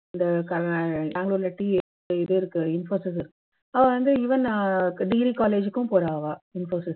இந்த க பெங்களூர்ல இருக்கு infosys இருக்கு அவா வந்து even degree college க்கும் போறா infosys